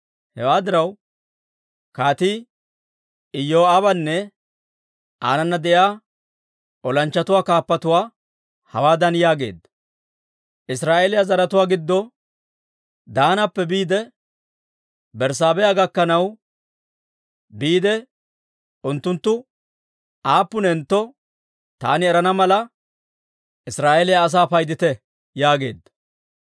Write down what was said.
Hewaa diraw, kaatii Iyoo'aabanne aanana de'iyaa olanchchatuwaa kaappatuwaa hawaadan yaageedda; «Israa'eeliyaa zaratuwaa giddo Daanappe biide Berssaabeha gakkanaw biide unttunttu aappunentto taani erana mala, Israa'eeliyaa asaa paydite» yaageedda.